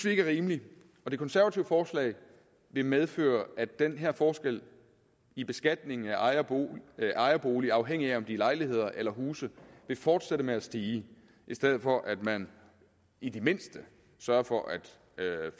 ikke er rimeligt det konservative forslag vil medføre at den her forskel i beskatningen af ejerboliger afhængigt af om det er lejligheder eller huse vil fortsætte med at stige i stedet for at man i det mindste sørger for at